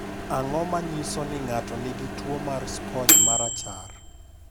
Ang’o ma nyiso ni ng’ato nigi tuwo mar sponj ma rachar?